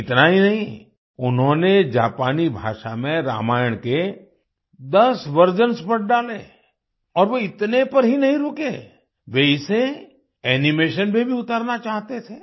इतना ही नहीं उन्होंने जापानी भाषा में रामायण के 10 वर्जन्स पढ़ डाले और वे इतने पर ही नहीं रुके वे इसे एनिमेशन पर भी उतारना चाहते थे